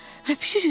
Öpüşürük?